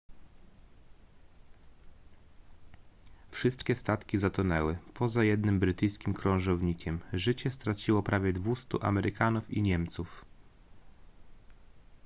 wszystkie statki zatonęły poza jednym brytyjskim krążownikiem życie straciło prawie 200 amerykanów i niemców